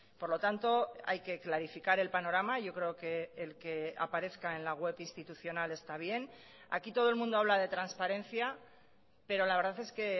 por lo tanto hay que clarificar el panorama yo creo que el que aparezca en la web institucional está bien aquí todo el mundo habla de transparencia pero la verdad es que